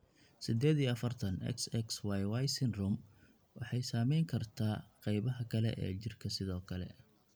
Sided iyo afartan, XXYY syndrome waxay saameyn kartaa qaybaha kale ee jirka sidoo kale.